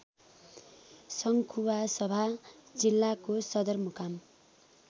सङ्खुवासभा जिल्लाको सदरमुकाम